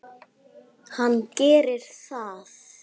Hann gerir það.